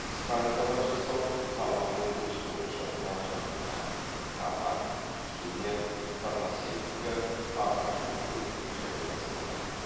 станкалар жасау тамақ өндірісі бойынша құрал жабдықтар тамақ химия фармацевтика ағаш өңдеу және басқалар